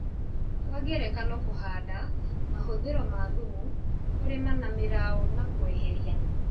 Kwa ngerekano kũhanda, mahũthĩro ma thumu, kũrĩma na mĩrao na kweheria